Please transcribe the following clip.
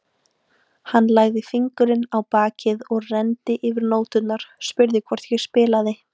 Hann lagði fingurinn á bakið og renndi yfir nóturnar, spurði hvort ég spilaði.